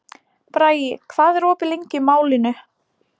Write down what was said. Bragi, hvað er opið lengi í Málinu?